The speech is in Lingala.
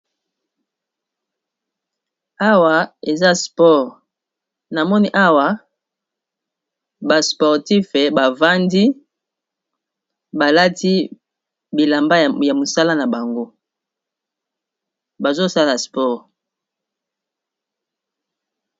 Awa eza sport namoni awa ba sportif bavandi balati bilamba ya mosala na bango bazosala sport.